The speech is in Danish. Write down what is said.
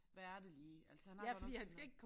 Hvad er det lige altså han har godt nok fået noget